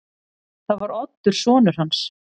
Það var Oddur sonur hans.